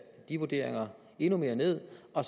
de vurderinger endnu mere ned og